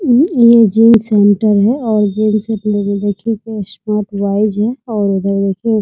अम ये gym centre है और जिम से जुड़े देखिए कोई स्कोप वाइज है और उधर देखिए --